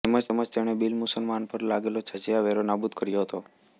તેમજ તેણે બિનમુસલમાનો પર લાગેલો જજિયા વેરો નાબુદ કર્યો હતો